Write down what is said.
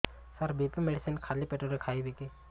ସାର BP medicine ଖାଲି ପେଟରେ ଖାଇବି କି